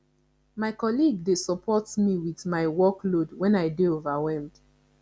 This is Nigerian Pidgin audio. my colleague dey support me with my workload when i dey overwhelmed